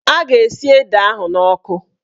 A ga-esi ede ahụ n'ọkụ